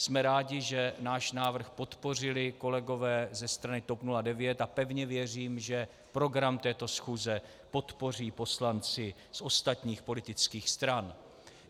Jsme rádi, že náš návrh podpořili kolegové ze strany TOP 09, a pevně věřím, že program této schůze podpoří poslanci z ostatních politických stran.